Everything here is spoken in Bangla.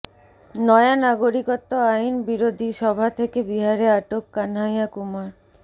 নয়া নাগরিকত্ব আইন বিরোধী সভা থেকে বিহারে আটক কানহাইয়া কুমার